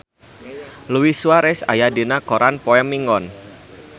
Luis Suarez aya dina koran poe Minggon